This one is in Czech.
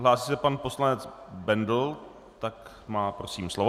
Hlásí se pan poslanec Bendl, tak má, prosím, slovo.